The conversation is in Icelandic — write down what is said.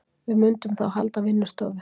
Við mundum þá halda vinnustofu